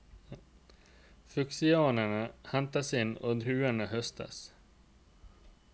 Fuksiaene hentes inn, og druene høstes.